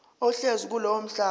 ohlezi kulowo mhlaba